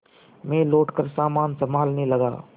मैं लौटकर सामान सँभालने लगा